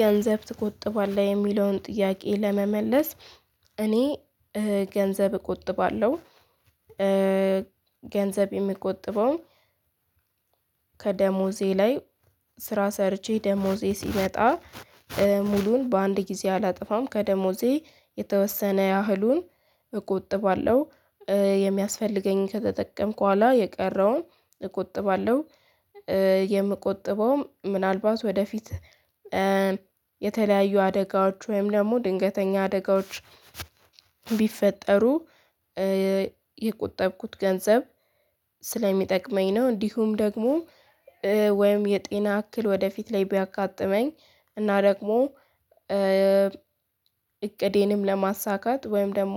ገንዘብ ትቆጥባለህ የሚለውን ጥያቄ ለመመለስ እኔ ገንዘብ እቆጥባለሁ። ገንዘብ የምቆጥበውም ከደሞዜ ላይ ስራ ሰርቼ ደሞዜ ሲመጣ ሙሉውን በአንድ ጊዜ አላጠፋም ከደሞዜ የተወሰነ ያህሉን እቆጥባለሁ። የሚያስፈልገኝን ከተጠቀምኩ በኋላ የቀረውን እቆጥባለሁ። የምቆጥበውም ምናልባት ወደፊት የተለያዩ አደጋዎች ወይም ደግሞ ድንገተኛ አደጋዎች ቢፈጠሩ የቆጠብኩት ገንዘብ ስለሚጠቅመኝ ነው። እንዲሁም ደግሞ ወይም የጤና እክል ወደፊት ላይ ቢያጋጥመኝ እና ደግሞ እቅዴንም ለማሳካት ወይም ደግሞ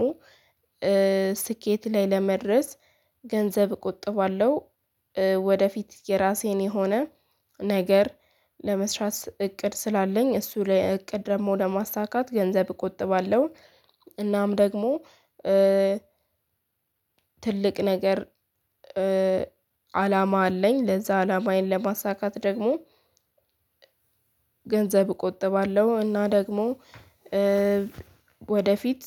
ስኬት ላይ ለመድረስ ገንዘብ እቆጥባለሁ። ወደፊት የራሴን የሆነ ነገር ለመስራት እቅድ ስላለኝ እሱ ለእቅድ ደግሞ ለማሳካት ገንዘብ እቆጥባለሁ። እናም ደግሞ ትልቅ ነገር አላማ አለኝ ለዛ አላማዬን ለማሳካት ደግሞ ገንዘብ እቆጥባለሁ። እና ደግሞ ወደፊት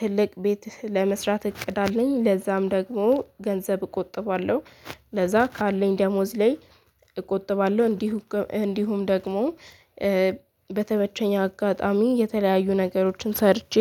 ትልቅ ቤት ለመስራት እቅድ አለኝ ለዛም ደግሞ ገንዘብ እቆጥባለሁ። ለዛ ካለኝ ደሞዝ ላይ እቆጥባለሁ እንዲሁ እንዲሁም ደግሞ በተመቸኝ አጋጣሚ የተለያዩ ነገሮችን ሰርቼ